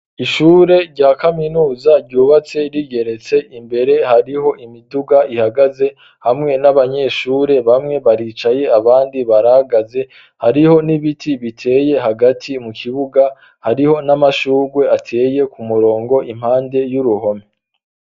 Ishure rya kaminuza ryubatse rigeretse, imbere hariho imiduga ihagaze hamwe n'abanyeshure bamwe baricaye abandi baragaze, hariho n'ibiti biteye hagati mu kibuga ,hariho n'amashugwe ateye ku murongo impande y'uruhome.